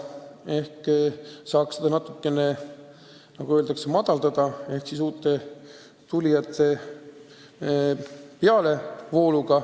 Ehk saab seda natukene madalamaks tuua, kui tekib uute tulijate pealevool.